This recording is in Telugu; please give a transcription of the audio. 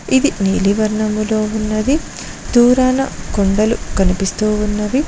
ఇది నీలి వర్ణంలో ఉన్నది దూరాన కొండలు కనిపిస్తూ ఉన్నవి.